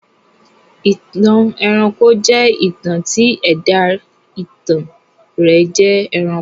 ìtàn ẹranko jẹ́ ìtàn tí ẹ̀dá ìtàn rẹ̀ jẹ́ ẹranko.